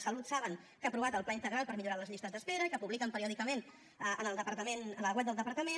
salut saben que ha aprovat el pla integral per millorar les llistes d’espera i que publiquen periòdicament en el departament en la web del departament